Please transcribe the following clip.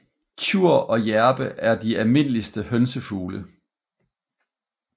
Tjur og hjerpe er dealmindeligste hønsefugle